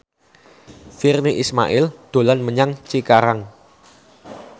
Virnie Ismail dolan menyang Cikarang